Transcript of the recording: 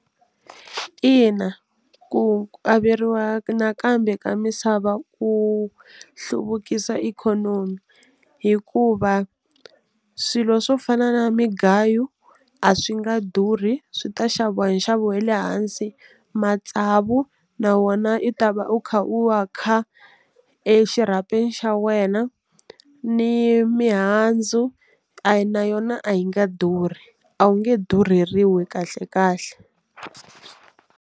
Ina, ku averiwa nakambe ka misava ku hluvukisa ikhonomi hikuva swilo swo fana na migayo a swi nga durhi swi ta xaviwa hi nxavo wa le hansi matsavu na wona i ta va u kha u wa kha exirhapeni xa wena ni mihandzu a yi na yona a yi nga durhi a wu nge durheriwi kahle kahle.